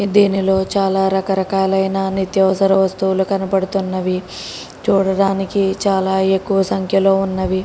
దీనిలో చాలా రకరకాలైన నిత్యవసర వస్తువులు కనబడుతున్నవి చూడడానికి చాలా ఎక్కువ సంఖ్యలో ఉన్నవి